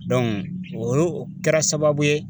Dɔnku o o kɛra sababu ye